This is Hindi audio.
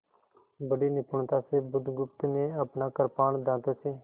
बड़ी निपुणता से बुधगुप्त ने अपना कृपाण दाँतों से